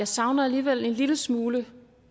savner alligevel en lille smule